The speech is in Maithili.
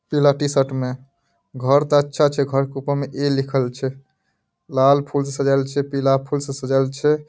पीला टी-शर्ट में घर ते अच्छा छै घर के ऊपर में ए लिखल छै | लाल फूल से सजाएल छै पीला फूल से सजाएल छै ।